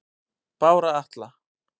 Bára Atla